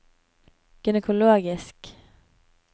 gynekologisk